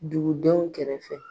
Dugudenw kɛrɛfɛ.